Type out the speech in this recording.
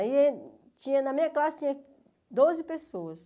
Aí tinha na minha classe tinha doze pessoas.